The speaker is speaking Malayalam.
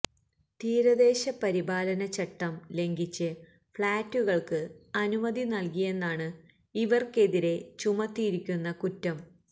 തീരദേശ പരിപാലന ചട്ടം ലംഘിച്ച് ഫ്ലാറ്റുകൾക്ക് അനുമതി നൽകിയെന്നാണ് ഇവർക്കെതിരെ ചുമത്തിയിരിക്കുന്ന കുറ്റം